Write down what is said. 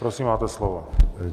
Prosím, máte slovo.